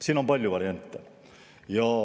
Siin on palju variante.